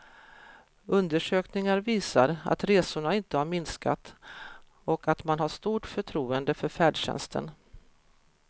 Undersökningar visar att resorna inte har minskat och att man har stort förtroende för färdtjänsten.